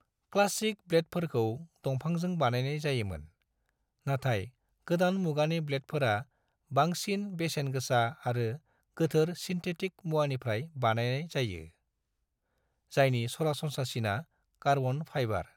Classic ब्लेडफोरखौ दंफांजों बानायनाय जायोमोन, नाथाय गोदान मुगानि ब्लेडफोरा बांसिन बेसेन गोसा आरो गोजोर सिन्थेटिक मुवानिफ्राय बानायनाय जायो, जायनि सरासनस्रासिना कार्बन फाइबार।